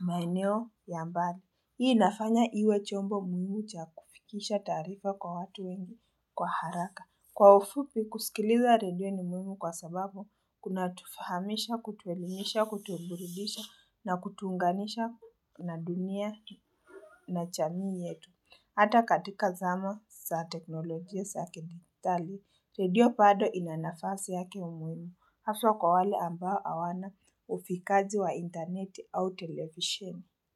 maeneo ya mbali. Hii inafanya iwe chombo muhimu cha kufikisha tarifa kwa watu wengi kwa haraka. Kwa ufupi, kusikiliza radio ni muhimu kwa sababu kuna tufahamisha, kutuelimisha, kutuburidisha na kutunganisha na dunia na chamii yetu. Hata katika zama sa teknolojia sa kidigitali, radio pado inanafasi yake muhimu haswa kwa wale ambao awana ufikaji wa interneti au televisheni.